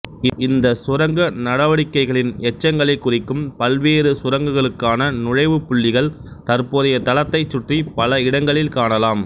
இந்த சுரங்க நடவடிக்கைகளின் எச்சங்களை குறிக்கும் பல்வேறு சுரங்கங்களுக்கான நுழைவு புள்ளிகள் தற்போதைய தளத்தை சுற்றி பல இடங்களில் காணலாம்